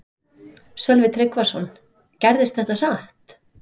Sölvi Tryggvason: Gerðist þetta hratt?